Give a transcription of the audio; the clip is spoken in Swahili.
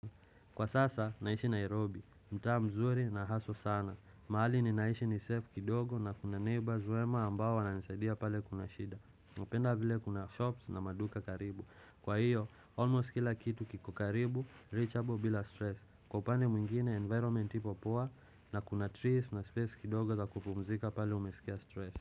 Kwa sasa, naishi Nairobi. Mtaa mzuri na haso sana. Mahali ni naishi ni safe kidogo na kuna neighbors wema ambao wananisaidia pale kuna shida. Upenda vile kuna shops na maduka karibu. Kwa hiyo, almost kila kitu kiko karibu, reachable bila stress. Kw upande mwingine, environment ipo poa na kuna trees na space kidogo za kupumzika pale umesikia stress.